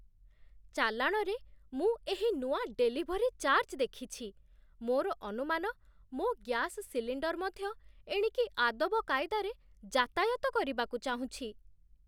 ଚାଲାଣରେ ମୁଁ ଏହି ନୂଆ ଡେଲିଭରୀ ଚାର୍ଜ ଦେଖିଛି। ମୋର ଅନୁମାନ, ମୋ ଗ୍ୟାସ ସିଲିଣ୍ଡର୍ ମଧ୍ୟ ଏଣିକି ଆଦବ କାଏଦାରେ ଯାତାୟାତ କରିବାକୁ ଚାହୁଁଛି!